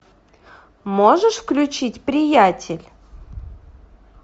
можешь включить приятель